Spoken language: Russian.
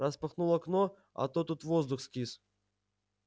распахнул окно а то тут воздух скис